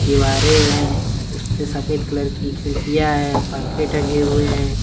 दीवारें हैं उसके सफेद कलर की खिड़कियां है पंखे टंगे हुए हैं।